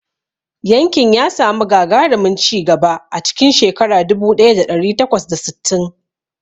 Yankin ya samu gagarumin ci gaba a cikin shekara dubu ɗaya da ɗari takwas da sittin.